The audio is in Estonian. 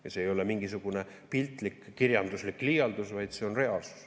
Ja see ei ole mingisugune piltlik, kirjanduslik liialdus, vaid see on reaalsus.